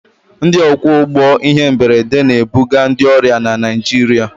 Ndị ọkwọ ụgbọ ihe mberede na-ebuga ndị ọrịa na Naịjirịa.